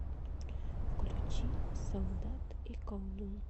включи солдат и колдун